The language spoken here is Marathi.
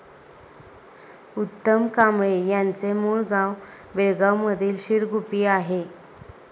उत्तम कांबळे यांचे मूळ गाव बेळगांवमधील शिरगुप्पी आहे.